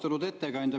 Austatud ettekandja!